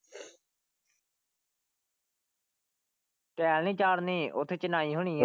Tile ਨਹੀਂ ਚਾੜ੍ਹਨੀ ਓਥੇ ਚਿਣਾਈ ਹੋਣੀ ਆ।